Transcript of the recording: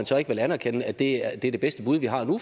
så ikke vil anerkende at det er det bedste bud vi har nu